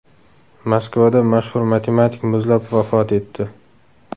Moskvada mashhur matematik muzlab vafot etdi.